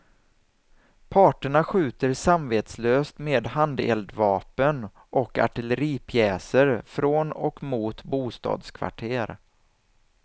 Parterna skjuter samvetslöst med handeldvapen och artilleripjäser från och mot bostadskvarter.